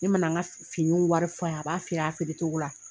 Ne ma na n ka finiw wari f'a ye, a b'a feere, a feere togo la